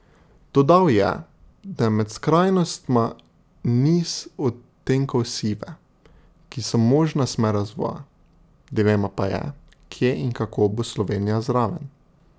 Dodal je, da je med skrajnostma niz odtenkov sive, ki so možna smer razvoja, dilema pa je, kje in kako bo Slovenija zraven.